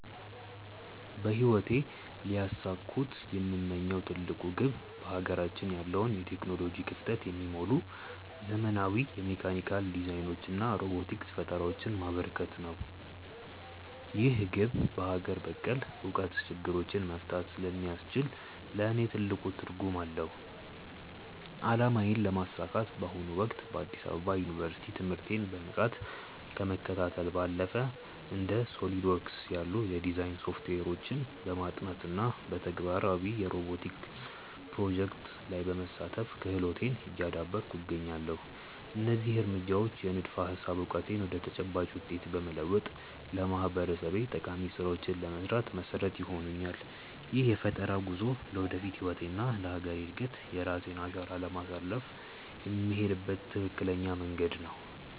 በህይወቴ ሊያሳኩት የምመኘው ትልቁ ግብ በሀገራችን ያለውን የቴክኖሎጂ ክፍተት የሚሞሉ ዘመናዊ የሜካኒካል ዲዛይኖችንና ሮቦቲክስ ፈጠራዎችን ማበርከት ነው። ይህ ግብ በሀገር በቀል እውቀት ችግሮችን መፍታት ስለሚያስችል ለእኔ ትልቅ ትርጉም አለው። አላማዬን ለማሳካት በአሁኑ ወቅት በአዲስ አበባ ዩኒቨርሲቲ ትምህርቴን በንቃት ከመከታተል ባለፈ፣ እንደ SOLIDWORKS ያሉ የዲዛይን ሶፍትዌሮችን በማጥናት እና በተግባራዊ የሮቦቲክስ ፕሮጀክቶች ላይ በመሳተፍ ክህሎቴን እያዳበርኩ እገኛለሁ። እነዚህ እርምጃዎች የንድፈ-ሀሳብ እውቀቴን ወደ ተጨባጭ ውጤት በመለወጥ ለማህበረሰቤ ጠቃሚ ስራዎችን ለመስራት መሰረት ይሆኑኛል። ይህ የፈጠራ ጉዞ ለወደፊት ህይወቴና ለሀገሬ እድገት የራሴን አሻራ ለማሳረፍ የምሄድበት ትክክለኛ መንገድ ነው።